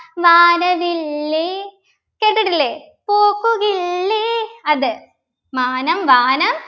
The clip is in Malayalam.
വാനവില്ലേ കേട്ടിട്ടില്ലേ പൂക്കുകില്ലേ അത് മാനം വാനം